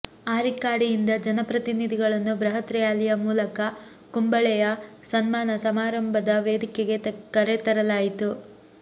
ಆರಿಕ್ಕಾಡಿಯಿಂದ ಜನಪ್ರತಿನಿಧಿಗಳನ್ನು ಬೃಹತ್ ರ್ಯಾಲಿಯ ಮೂಲಕ ಕುಂಬಳೆಯ ಸನ್ಮಾನ ಸಮಾರಂಭದ ವೇದಿಕೆಗೆ ಕರೆತರಲಾಯಿತು